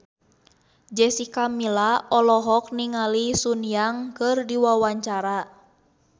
Jessica Milla olohok ningali Sun Yang keur diwawancara